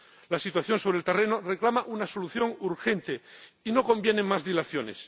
La situación sobre el terreno reclama una solución urgente y no convienen más dilaciones.